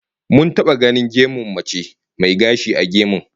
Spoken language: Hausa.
Mun taba ganin gemun mace mai gashi a gemun